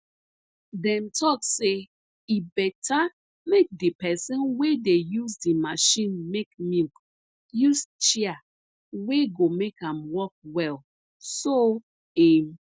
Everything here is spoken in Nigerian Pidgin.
dem talk say e beta make di person wey dey use di machine make milk use chair wey go make am work well so im